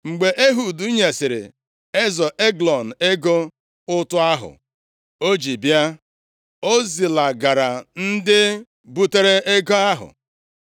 Mgbe Ehud nyesịrị eze Eglọn ego ụtụ ahụ o ji bịa, o zilagara ndị butere ego ahụ.